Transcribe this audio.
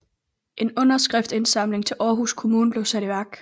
En underskriftindsamling til Aarhus kommune blev sat i værk